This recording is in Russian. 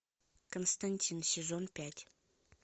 константин сезон пять